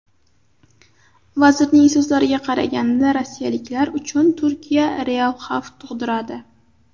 Vazirning so‘zlariga qaraganda, rossiyaliklar uchun Turkiya real xavf tug‘diradi.